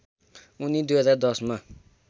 उनी २०१० मा